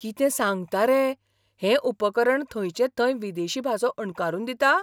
कितें सांगता रे! हें उपकरण थंयचे थंय विदेशी भासो अणकारून दिता?